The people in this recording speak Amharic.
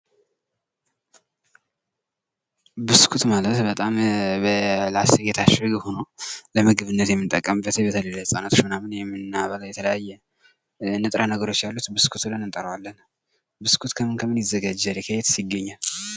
ብስኩት የምንለው በላስቲክ የታሸገ ሁኖ ለምግብነት የምንጠቀምበት በተለይ ለህፃናቶች የምንጠቀመው የተለያየ ንጥረ ነገሮች ያሉት ብስኩት ይባላል ።ብስኩት ከምን ከምን ይሰራል? ከየትስ ይገኛል?